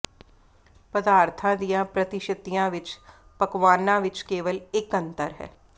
ਪਦਾਰਥਾਂ ਦੀਆਂ ਪ੍ਰਤੀਸ਼ਤੀਆਂ ਵਿੱਚ ਪਕਵਾਨਾ ਵਿੱਚ ਕੇਵਲ ਇੱਕ ਅੰਤਰ ਹੈ